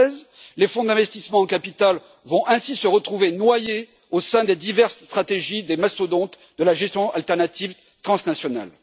2013. Les fonds d'investissement en capital vont ainsi se retrouver noyés au sein des diverses stratégies des mastodontes de la gestion alternative transnationale.